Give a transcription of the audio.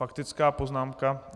Faktická poznámka?